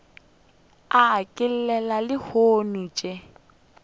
a e llela lehono še